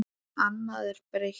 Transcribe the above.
Annað er breytt.